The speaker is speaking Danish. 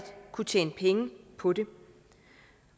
kunne tjene penge på det